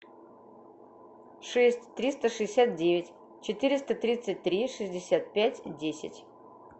шесть триста шестьдесят девять четыреста тридцать три шестьдесят пять десять